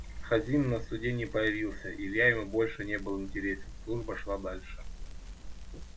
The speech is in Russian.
хазин на суде не появился илья ему больше не был интересен служба шла дальше